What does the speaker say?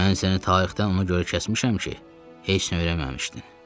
Mən səni tarixdən ona görə kəsmişəm ki, heç nə öyrənməmişdin.